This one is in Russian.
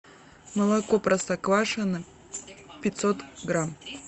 молоко простоквашино пятьсот грамм